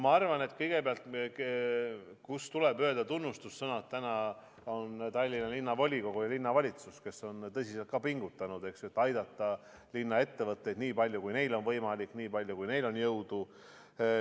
Ma arvan, et tunnustussõnu tuleb öelda Tallinna Linnavolikogule ja linnavalitsusele, kes on tõsiselt pingutanud, et aidata linna ettevõtteid nii palju, kui neil on võimalik, nii palju, kui neil on jõudu.